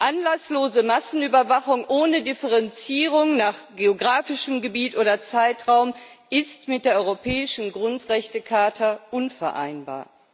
Anlasslose Massenüberwachung ohne Differenzierung nach geografischem Gebiet oder Zeitraum ist mit der europäischen Grundrechtecharta unvereinbar.